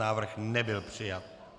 Návrh nebyl přijat.